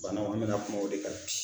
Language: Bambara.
Banaw an mɛna kuma o de kan bi.